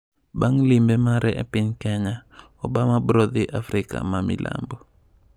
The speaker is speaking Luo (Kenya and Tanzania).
Bang' limbe mare e piny Kenya, Obama brodhi Afrika ma Milambo.